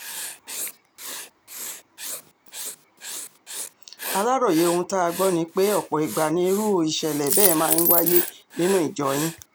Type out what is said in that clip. aláròye ohun tá a gbọ́ ni pé ọ̀pọ̀ ìgbà nirú ìṣẹ̀lẹ̀ bẹ́ẹ̀ máa ń wáyé nínú ìjọ yín